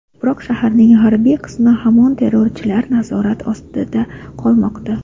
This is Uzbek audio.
Biroq shaharning g‘arbiy qismi hamon terrorchilar nazorati ostida qolmoqda.